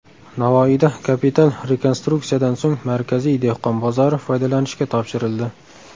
Navoiyda kapital rekonstruksiyadan so‘ng markaziy dehqon bozori foydalanishga topshirildi.